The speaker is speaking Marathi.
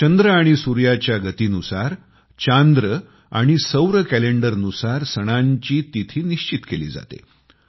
चंद्र आणि सूर्याच्या गतीनुसार चंद्र आणि सूर्य कॅलेंडरनुसार सणांची तिथी निश्चित केली जाते